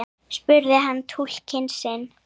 spurði hann túlkinn sinn.